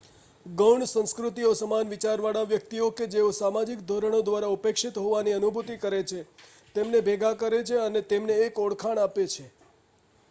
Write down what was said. ગૌણ સંસ્કૃતિઓ સમાન વિચારવાળા વ્યક્તિઓ કે જેઓ સામાજિક ધોરણો દ્વારા ઉપેક્ષિત હોવાની અનુભૂતિ કરે છે તેમને ભેગા કરે છે અને તેમને એક ઓળખાણ આપે છે